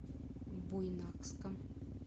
буйнакском